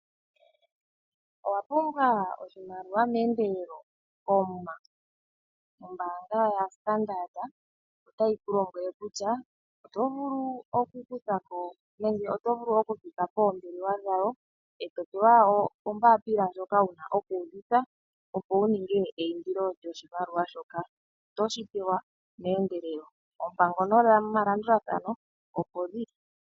Owapumbwa oshimaliwa meendelelo koomuma? Ombaanga yoStandard otayi kulombwele kutya oto vulu okupita poombelewa dhawo eto pewa ombaapila ndjoka wuna okuudhitha opo wuninge eindilo lyoshimaliwa shoka notoshi pewa meendelelo. Oompango nomalandulathano opo dhili.